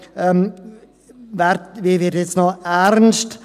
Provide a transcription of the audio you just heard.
Nein, ich werde nun ernst.